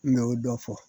N mɛ y'o dɔ fɔ